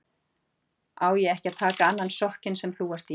Á ég ekki að taka annan sokkinn sem þú ert í?